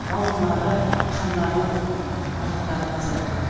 бауырлары қандары барлықтары таза